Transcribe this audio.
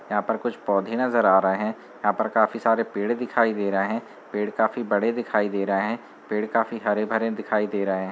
यहाँ पर कुछ पौधे नजर आ रहे हैं यहाँ पर काफी सारे पेड़ दिखाई दे रहे हैं पेड़ काफी बड़े दिखाई दे रहे हैं पेड़ काफी हरे-भरे दिखाई दे रहे हैं।